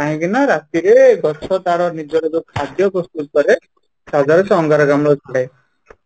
କାହିଁକି ନା ରାତି ରେ ଗଛ ତା'ର ନିଜର ଯୋଉ ଖାଦ୍ୟ ପ୍ରସ୍ତୁତ କରେ ତା' ଦ୍ୱାରା ସିଏ ଅଙ୍ଗାରକାମ୍ଳ ଛାଡେ